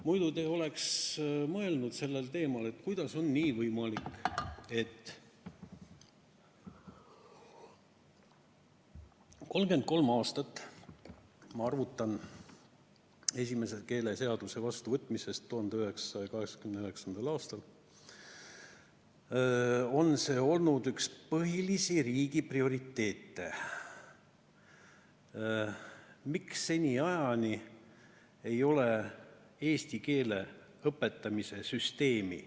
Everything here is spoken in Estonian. Muidu te oleks mõelnud, et kuidas on nii võimalik, et 33 aastat – ma lähtun esimese keeleseaduse vastuvõtmisest 1989. aastal – on see olnud üks riigi põhilisi prioriteete, aga seniajani ei ole eesti keele õpetamise süsteemi.